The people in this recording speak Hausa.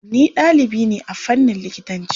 Ni ɗalibi ne a fannin likitanci.